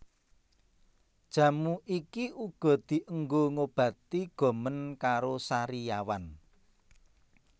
Jamu iki uga dienggo ngobati gomen karo sariawan